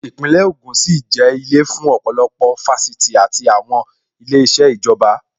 Īpínlè ògùn sì jẹ́ ilé fún ọ̀pọ̀lọpọ̀ Fáṣítì àti àwọn ilé iṣẹ́ ìjọba